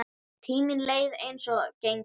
Tíminn leið eins og gengur.